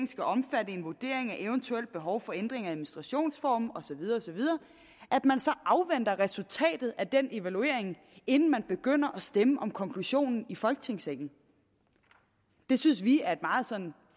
skal omfatte en vurdering af et eventuelt behov for ændringen af administrationsformen osv afventer resultatet af den evaluering inden man begynder at stemme om konklusionen i folketingssalen det synes vi er et meget